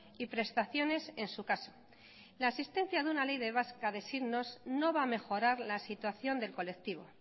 y prestaciones en su caso la existencia de una ley de vasca de signos no va a mejorar la situación del colectivo